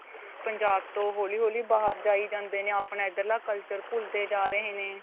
ਪੰਜਾਬ ਤੋ ਹੋਲੀ ਹੋਲੀ ਬਾਹਰ ਜਾਈ ਜਾਂਦੇ ਨੇ ਆਪਣਾ ਇੱਧਰਲਾ culture ਭੁੱਲਦੇ ਜਾ ਰਹੇ ਨੇ.